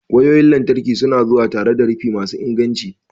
wayoyin lantarki su na zuwa tare da rufi masu inganci.